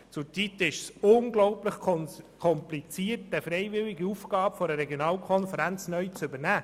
Zurzeit ist es unglaublich kompliziert, eine freiwillige Aufgabe einer Regionalkonferenz neu zu übernehmen.